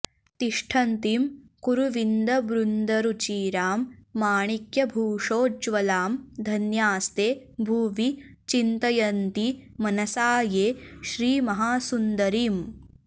तिष्ठन्तीं कुरुविन्दबृन्दरुचिरां माणिक्यभूषोज्ज्वलां धन्यास्ते भुवि चिन्तयन्ति मनसा ये श्रीमहासुन्दरीम्